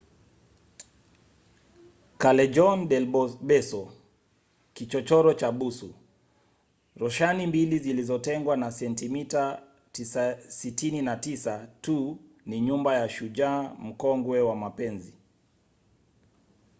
callejon del beso kichochoro cha busu. roshani mbili zilizotengwa na sentimita 69 tu ni nyumba ya shujaa mkongwe wa mapenzi